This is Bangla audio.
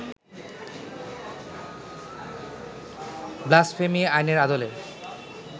ব্লাসফেমি আইনের আদলে